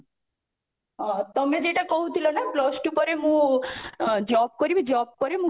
ଓ ତମେ ଯେଇଟା କହୁଥିଲ ନା plus two ପରେ ମୁଁ ଅ job କରିବି job ପରେ